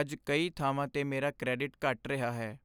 ਅੱਜ ਕਈ ਥਾਵਾਂ 'ਤੇ ਮੇਰਾ ਕਰੈਡਿਟ ਘਟ ਰਿਹਾ ਹੈ।